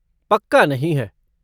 पक्का नहीं है।